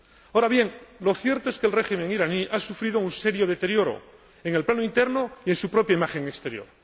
Ahora bien, lo cierto es que el régimen iraní ha sufrido un serio deterioro en el plano interno y en su propia imagen exterior.